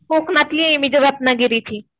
कोकणातली आहे मी रत्नागिरी ची